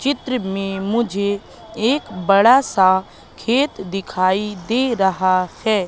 चित्र में मुझे एक बड़ा सा खेत दिखाई दे रहा है।